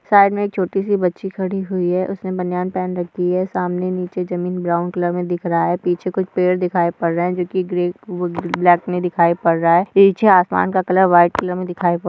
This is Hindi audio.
साइड मे एक छोटी सी बच्ची खड़ी हुई है उसने बनियान पहन रखी है सामने नीचे जमीन ब्राउन कलर मे दिख रहा है पीछे कुछ पेड़ दिखाई पड़ रहा है जो की ब्लैक नई दिखाई पड़ रहा है पीछे आसमान का कलर व्हाइट कलर मे दिखाई पड़--